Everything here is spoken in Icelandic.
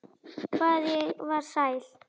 Hvað ég var sæl.